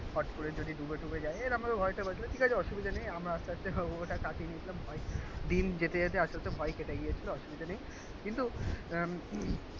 ফট করে যদি ডুবে টুবে যাই এরম ভাবে ভয়টা বাঁচবে. ঠিক আছে. অসুবিধা নেই. আমরা আস্তে আস্তে ওইটা কাটিয়ে নিয়েছিলাম ভয়. দিন যেতে যেতে আসতে আসতে ভয় কেটে গিয়েছিল. অসুবিধা নেই. কিন্তু উম